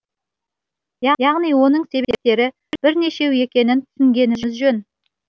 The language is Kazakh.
яғни оның себептері бірнешеу екенін түсінгеніміз жөн